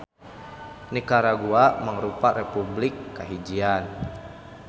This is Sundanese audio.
Nikaragua mangrupa republik kahijian.